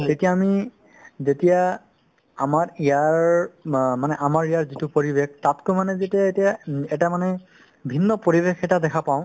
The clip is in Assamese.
তেতিয়া আমি যেতিয়া আমাৰ ইয়াৰ বা মানে আমাৰ ইয়াৰ যিটো পৰিৱেশ তাতকৈ মানে যেতিয়া এতিয়া উম এটা মানে ভিন্ন পৰিৱেশ এটা দেখা পাওঁ